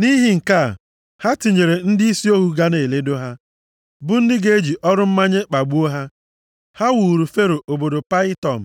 Nʼihi nke a, ha tinyere ndịisi ohu ga na eledo ha, bụ ndị ga-eji ọrụ mmanye kpagbuo ha. Ha wuuru Fero obodo Payitọm